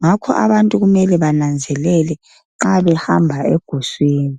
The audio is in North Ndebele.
ngakho abantu kumele bananzelele nxa behamba eguswini.